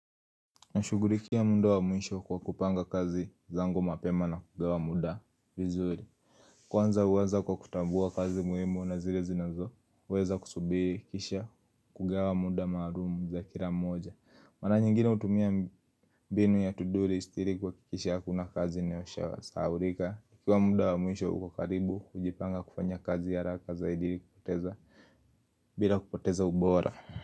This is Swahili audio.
Na shugurikia muda wa mwisho kwa kupanga kazi zango mapema na kugawa muda vizuri Kwanza huweza kwa kutambua kazi muimu na zile zinazo uweza kusubiri kisha kugawa muda maalumu za kila mmoja Mara nyingine hutumia mbinu ya tuduri istirikuwa kikisha hakuna kazi imesahaulika Kwa muda wa mwisho ukakaribu kujipanga kufanya kazi ya harraka zaidi kupoteza bila kupoteza ubora.